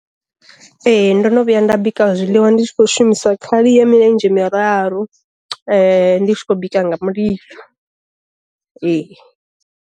Ee ndo no vhuya nda bika zwiḽiwa ndi tshi kho shumisa khali ya milenzhe miraru ndi tshi khou bika nga mulilo ee.